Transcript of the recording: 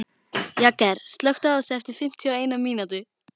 Jagger, slökktu á þessu eftir fimmtíu og eina mínútur.